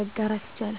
መጋራት ይቻላል።